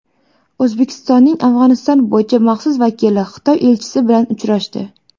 O‘zbekistonning Afg‘oniston bo‘yicha maxsus vakili Xitoy elchisi bilan uchrashdi.